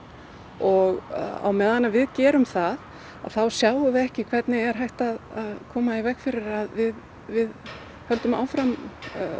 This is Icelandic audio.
og á meðan við gerum það þá sjáum við ekki hvernig er hægt að koma í veg fyrir að við við höldum áfram